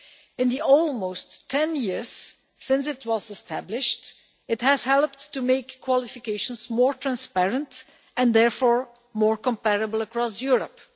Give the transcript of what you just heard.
In the almost 10 years since it was established it has helped to make qualifications more transparent and therefore more comparable across Europe.